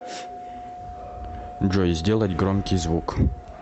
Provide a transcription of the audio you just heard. джой сделать громкий звук